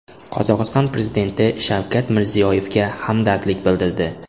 Qozog‘iston prezidenti Shavkat Mirziyoyevga hamdardlik bildirdi.